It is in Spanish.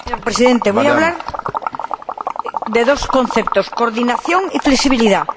Señor Presidente, voy a hablar de dos conceptos coordinación y flexibilidad.